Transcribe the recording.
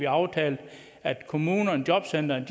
aftalt at kommunerne jobcentrene